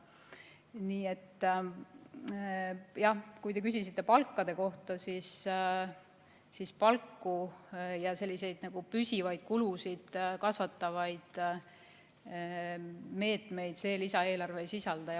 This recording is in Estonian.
Nii et jah, kui te küsisite palkade kohta, siis võin öelda, et palku ja selliseid püsivaid kulusid kasvatavaid meetmeid see lisaeelarve ei sisalda.